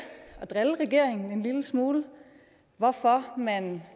at drille regeringen en lille smule med hvorfor man